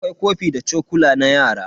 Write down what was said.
Akwai kofi da chokula na yara.